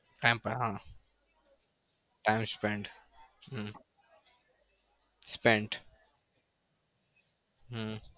time spend હમ spend હમ